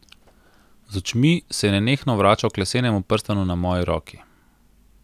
Z očmi se je nenehno vračal k lesenemu prstanu na moji roki.